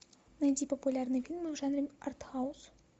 найди популярные фильмы в жанре артхаус